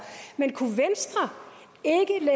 men kunne venstre